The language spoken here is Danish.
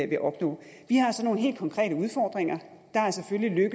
vil opnå vi har så nogle helt konkrete udfordringer der er selvfølgelig